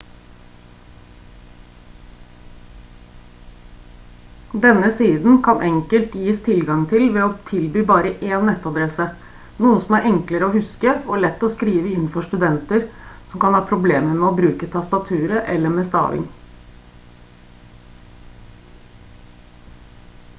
denne siden kan enkelt gis tilgang til ved å tilby bare én nettadresse noe som er enklere å huske og lett å skrive inn for studenter som kan ha problemer med å bruke tastaturet eller med staving